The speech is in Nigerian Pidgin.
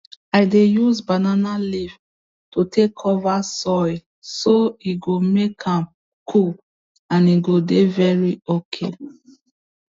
i dey use banana leaf to take cover soil so e go maek am cool and e go dey very okay